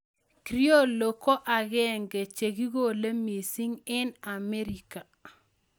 Criollo ko ag'eng'e che kikole mising' eng' Amerika